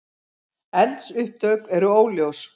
Eldsupptök eru óljós